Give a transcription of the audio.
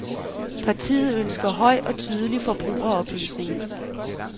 Partiet ønsker høj og tydelig forbrugeroplysning.